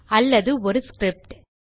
அல்லது ஒரு ஸ்கிரிப்ட்